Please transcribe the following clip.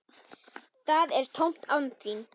Það er tómt án þín.